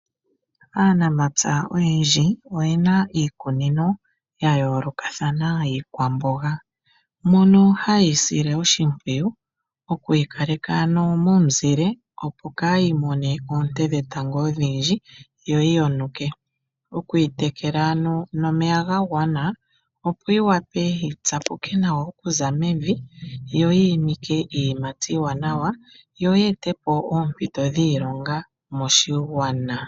Aanamapya oyendji oyena iikunino ya yoolokathana yiikwamboga, mono hayeyi sile oshimpwiyu okuyi kaleka ano momuzile opo kayi mone oonte dhetango odhindji yoyi yonuke, okuyi tekela ano omeya ga gwana opo yi wape yi tsapuke nawa okuza mevi, yo yi imike iiyimati iiwanawa, yo yi etepo oompito dhiilonga moshigwana.